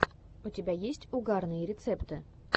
у тебя есть угарные рецепты